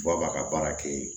Ba b'a ka baara kɛ yen